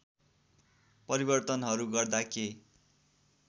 परिवर्तनहरू गर्दा के